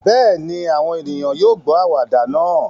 Bẹ́ẹ̀ ni, àwọn ènìyàn yóò gbọ́ àwàdà náà